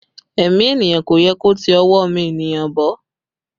Ẹ̀mí ènìyàn kò yẹ kó ti ọwọ́ ọmọ ènìyàn bọ́